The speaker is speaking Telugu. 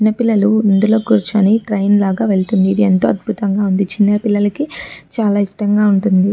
చిన్న పిల్లలు ఇందులో కూర్చొని ట్రైన్ లాగా వెళ్తుంది. ఇది ఎంతో అద్భుతంగా ఉంది. చిన్న పిల్లలకి చాల ఇష్టంగా ఉంది.